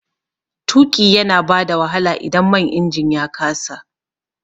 Tuƙi yana bada wahala idan man injin ya kasa